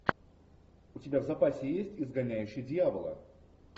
у тебя в запасе есть изгоняющий дьявола